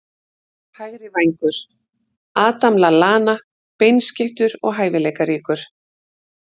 Hægri vængur- Adam Lallana Beinskeyttur og hæfileikaríkur.